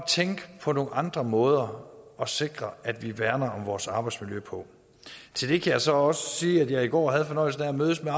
tænke på nogle andre måder at sikre at vi værner om vores arbejdsmiljø på til det kan jeg så også sige at jeg i går havde fornøjelsen af at mødes med